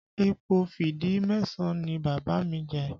Ipò fídí Màṣáà ni Bàbá mi jẹ